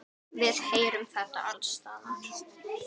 Við heyrum þetta alls staðar.